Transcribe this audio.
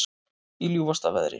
Í ljúfasta veðri